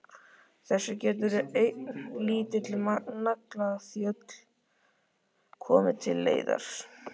Þessu getur ein lítil naglaþjöl komið til leiðar.